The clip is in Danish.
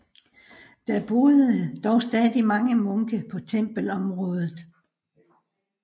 Der boede dog stadig mange munke på tempelområdet